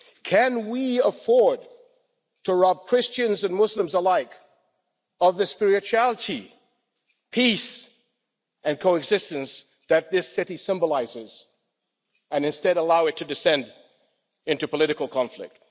Can we afford to rob Christians and Muslims alike of the spirituality, peace and coexistence that this city symbolises, and instead allow it to descend into political conflict?